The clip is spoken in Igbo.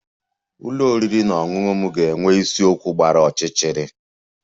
Ụlọ oriri na ọṅụṅụ m ga-enwe isiokwu gbara ọchịchịrị